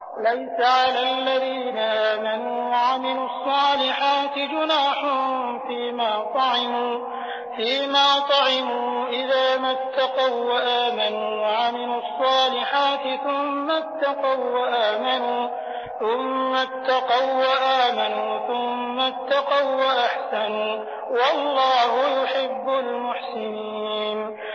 لَيْسَ عَلَى الَّذِينَ آمَنُوا وَعَمِلُوا الصَّالِحَاتِ جُنَاحٌ فِيمَا طَعِمُوا إِذَا مَا اتَّقَوا وَّآمَنُوا وَعَمِلُوا الصَّالِحَاتِ ثُمَّ اتَّقَوا وَّآمَنُوا ثُمَّ اتَّقَوا وَّأَحْسَنُوا ۗ وَاللَّهُ يُحِبُّ الْمُحْسِنِينَ